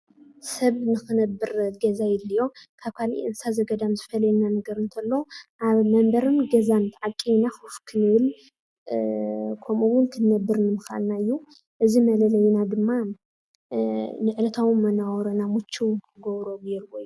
ሰብ ንኽነብር ገዛ የድልዮ። ካብ ካልእ እንስሳት ገዳም ዝፈልየና ነገር እንተሎ ኣብ መንበርን ገዛን ዓቒብና ኮፍ ክንብል ከምኡውን ክንነብር ንምኽኣልና እዩ። እዚ መለለዪና ድማ ንዕለታዊ መነባብሮና ምችው ንኽገብሮ ገይሩዎ እዩ።